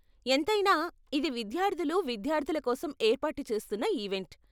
ఎంతైనా, ఇది విద్యార్థులు విద్యార్ధుల కోసం ఏర్పాటు చేస్తున్న ఈవెంట్.